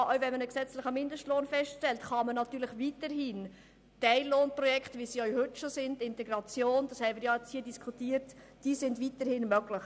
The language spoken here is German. Auch wenn man einen gesetzlichen Mindestlohn festlegt, sind Teillohnprojekte, wie es sie heute zur Integration schon gibt, natürlich weiterhin möglich.